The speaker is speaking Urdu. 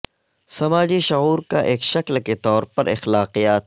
سماجی شعور کا ایک شکل کے طور پر اخلاقیات